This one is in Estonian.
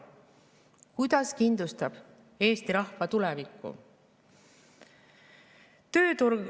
Kuidas kindlustab see eesti rahva tulevikku?